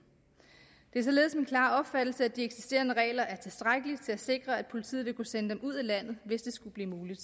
det er således min klare opfattelse at de eksisterende regler er tilstrækkelige til at sikre at politiet vil kunne sende dem ud af landet hvis det skulle blive muligt